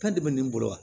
Kan de bɛ nin bolo wa